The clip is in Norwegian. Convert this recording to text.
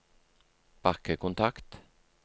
bakkekontakt